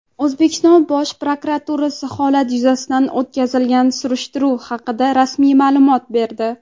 O‘zbekiston Bosh prokuraturasi holat yuzasidan o‘tkazilgan surishtiruv haqida rasmiy ma’lumot berdi.